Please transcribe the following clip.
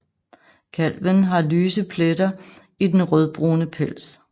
Kalven har lyse pletter i den rødbrune pels